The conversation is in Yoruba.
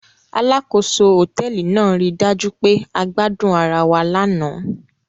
Alákòóso hòtẹ́ẹ́lì náà ri dájú pé a gbadun ara wa lánàá.